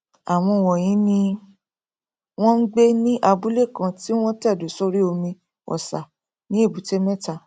àwọn wọnyí ni wọn ngbé ní abúlé kan tí wọn tẹdó sórí omi ọsà ní èbúté mẹta